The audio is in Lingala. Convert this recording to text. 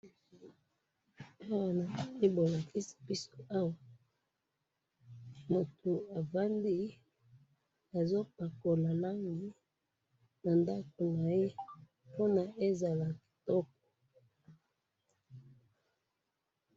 Na moni moto azo pakola langi na ndako na ye po ezala kitoko.